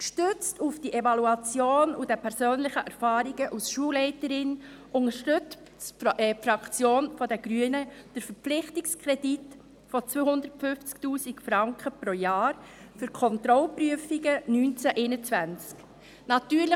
Gestützt auf die Evaluation und die persönlichen Erfahrungen als Schulleiterin unterstützt die Fraktion der Grünen den Verpflichtungskredit von 250 000 Franken pro Jahr für die Kontrollprüfungen 2019–2021.